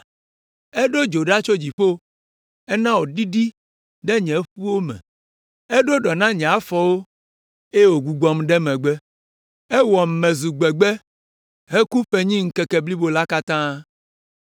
“Eɖo dzo ɖa tso dziƒo, ena wòɖiɖi ɖe nye ƒuwo me. Eɖo ɖɔ na nye afɔwo eye wògbugbɔm ɖe megbe. Ewɔm mezu gbegbe heku ƒenyi ŋkeke blibo la katã.